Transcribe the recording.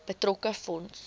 betrokke fonds